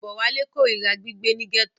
Bówálé korira gbígbé ní gẹ́tò.